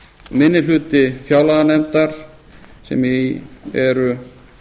minni hluti fjárlaganefndar sem í eru